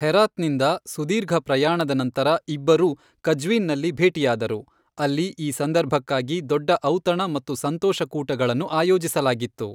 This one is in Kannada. ಹೆರಾತ್ನಿಂದ ಸುದೀರ್ಘ ಪ್ರಯಾಣದ ನಂತರ ಇಬ್ಬರೂ ಕಜ್ವೀನ್ನಲ್ಲಿ ಭೇಟಿಯಾದರು, ಅಲ್ಲಿ ಈ ಸಂದರ್ಭಕ್ಕಾಗಿ ದೊಡ್ಡ ಔತಣ ಮತ್ತು ಸಂತೋಷಕೂಟಗಳನ್ನು ಆಯೋಜಿಸಲಾಗಿತ್ತು.